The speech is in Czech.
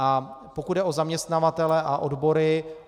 A pokud jde o zaměstnavatele a odbory.